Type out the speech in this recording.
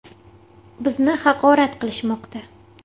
Bizni haqorat qilishmoqda.